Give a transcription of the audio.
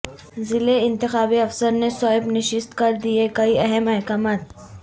ضلع انتخابی افسرنے سوئیپ نشست کر دئے کئی اہم احکامات